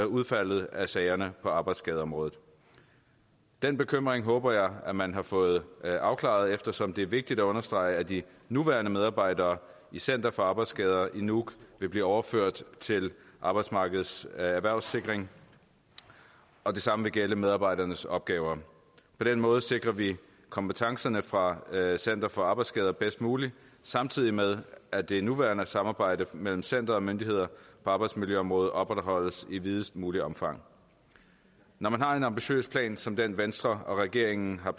udfaldet af sagerne på arbejdsskadeområdet den bekymring håber jeg at man har fået afklaret eftersom det er vigtigt at understrege at de nuværende medarbejdere i center for arbejdsskader i nuuk vil blive overført til arbejdsmarkedets erhvervssikring og det samme vil gælde medarbejdernes opgaver på den måde sikrer vi kompetencerne fra center for arbejdsskader bedst muligt samtidig med at det nuværende samarbejde mellem center og myndigheder på arbejdsmiljøområdet opretholdes i videst muligt omfang når man har en ambitiøs plan som den venstre og regeringen har